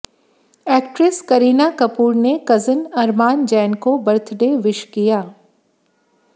actress Kareena Kapoor ने cousin Arman Jain को birthday wish किया